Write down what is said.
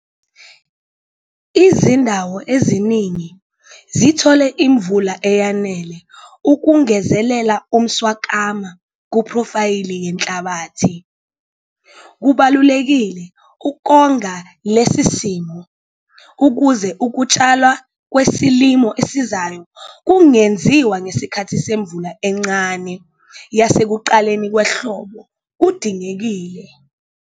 Izindawo eziningi zithole imvula eyanele ukungezelela umswakama kuphrofayile yenhlabathi. Kubalulekile ukonga lesi simo ukuze ukutshalwa kwesilimo esizayo kungenziwa ngesikhathi semvula encane yasekuqaleni kwehlobo kudingekile.